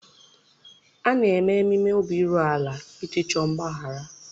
A na-eme ememe obi iru ala iji chọọ mgbaghara.